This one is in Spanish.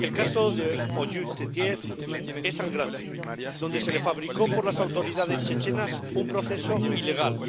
El caso de Oyub Titiev es sangrante se le fabricó por las autoridades chechenas un proceso ilegal